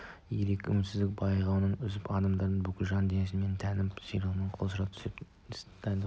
ерік үмітсіздік бұғауын үзіп адамның бүкіл жан дүниесі мен тәнін ширықтырып құлшындыра түседі мұндай іс әрекетті